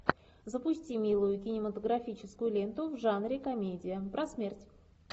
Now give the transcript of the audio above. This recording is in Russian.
запусти милую кинематографическую ленту в жанре комедия про смерть